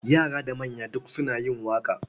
Yara da manya duk suna yin waƙa.